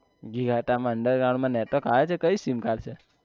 ઘીઘાટા માં under ground માં network આવે છે કઈ sim card છે